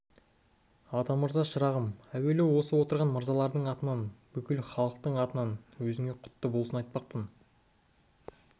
атамырза шырағым әуелі осы отырған мырзалардың атынан бүкіл халқыңның атынан өзіңе құтты болсын айтпақпын